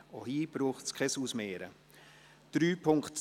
Auch hier ist kein Ausmehren nötig.